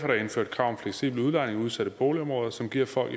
der indført krav om fleksibel udlejning i udsatte boligområder som giver folk